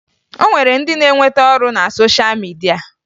O nwere ndị na-enweta ọrụ na sosha midia